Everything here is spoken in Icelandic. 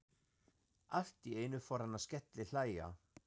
Allt í einu fór hann að skellihlæja.